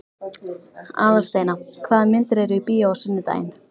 Aðalsteina, hvaða myndir eru í bíó á sunnudaginn?